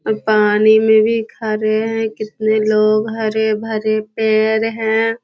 उ पानी में भी खड़े हैं कितने लोग हरे भरे पेड़ हैं।